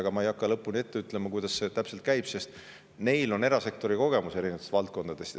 Ega ma ei hakka lõpuni ette ütlema, kuidas see täpselt käib, sest neil on erasektori kogemus eri valdkondadest.